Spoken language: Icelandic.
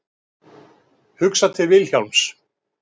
Hugsa til Vilhjálms.